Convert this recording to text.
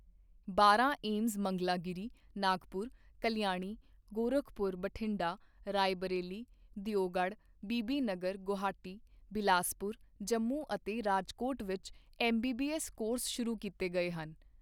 ਬਾਰਾਂ ਏਮਜ਼ ਮੰਗਲਾਗਿਰੀ, ਨਾਗਪੁਰ, ਕਲਿਆਣੀ, ਗੋਰਖਪੁਰ, ਬਠਿੰਡਾ, ਰਾਏਬਰੇਲੀ, ਦਿਓਗੜ੍ਹ, ਬੀਬੀਨਗਰ, ਗੁਹਾਟੀ, ਬਿਲਾਸਪੁਰ, ਜੰਮੂ ਅਤੇ ਰਾਜਕੋਟ ਵਿੱਚ M B B S course ਸ਼ੁਰੂ ਕੀਤੇ ਗਏ ਹਨ।